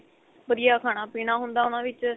ਵਧੀਆ ਖਾਣਾ ਪੀਣਾ ਹੁੰਦਾ ਉਨ੍ਹਾਂ ਵਿੱਚ